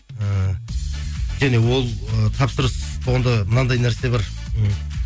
ііі және ол ы тапсырыс болғанда мынандай нәрсе бар м